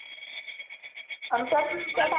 अन